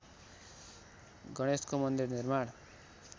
गणेशको मन्दिर निर्माण